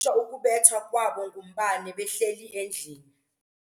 shwa ukubethwa kwabo ngumbane behleli endlini.